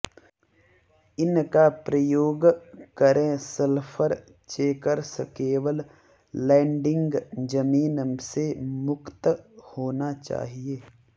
इन का प्रयोग करें सल्फर चेकर्स केवल लैंडिंग जमीन से मुक्त होना चाहिए